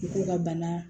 U k'u ka bana